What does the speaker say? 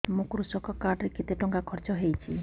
ମୋ କୃଷକ କାର୍ଡ ରେ କେତେ ଟଙ୍କା ଖର୍ଚ୍ଚ ହେଇଚି